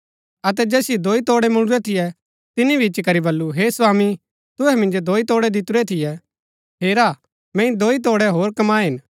अतै जैसिओ दोई तोड़ै मुळुरै थियै तिनी भी इच्ची करी बल्लू हे स्वामी तुहै मिन्जो दोई तोड़ै दितुरै थियै हेरा मैंई दोई तोड़ै होर कमाये हिन